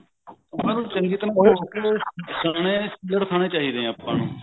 ਉਹਨਾਂ ਨੂੰ ਚੰਗੀ ਤਰ੍ਹਾਂ ਸੁਕਾ ਕੇ ਛੀਲੜ ਖਾਨੇ ਚਾਹੀਦੇ ਨੇ ਆਪਾਂ ਨੂੰ